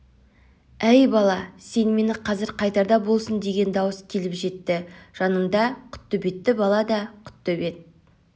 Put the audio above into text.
әй бала сені ме қазір қайтарда болсын деген дауыс келіп жетті жаныңда құттөбеті бала да құттөбет